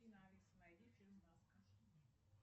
афина алиса найди фильм маска